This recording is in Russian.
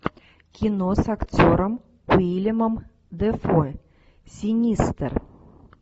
кино с актером уиллемом дефо синистер